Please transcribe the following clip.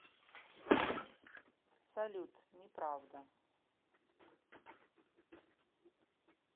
салют не правда